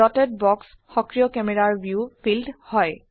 dotted box সক্ৰিয় ক্যামেৰাৰ view field হয়